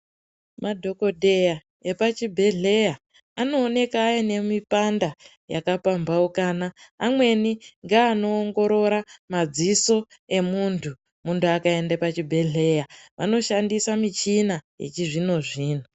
Madhokodheya epachibhedhleya anooneka aine mipanda yakapamhaukana. Amweni ngeanoongorora madziso emuntu. Muntu akaenda pachibhedhleya vanoshandisa michina yechizvino-zvino.